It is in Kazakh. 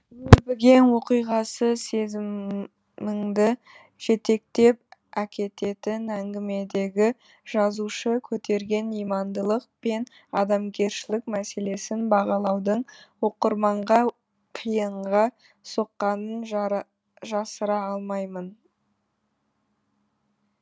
өрбіген оқиғасы сезіміңді жетектеп әкететін әңгімедегі жазушы көтерген имандылық пен адамгершілік мәселесін бағалауды оқырманға қиынға соққанын жасыра алмаймын